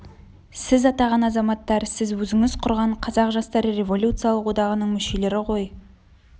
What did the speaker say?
сіз атаған азаматтар сіз өзіңіз құрған қазақ жастары революциялық одағының мүшелері ғой